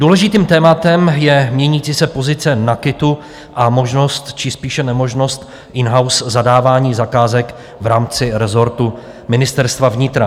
Důležitým tématem je měnící se pozice NAKITu a možnost či spíše nemožnost in-house zadávání zakázek v rámci rezortu Ministerstva vnitra.